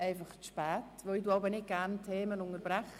ich unterbreche die Themen ungern.